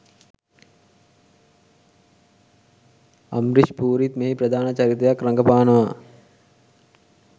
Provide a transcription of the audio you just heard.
අම්රිෂ් පූරිත් මෙහි ප්‍රධාන චරිතයක් රඟපානවා.